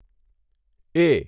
એ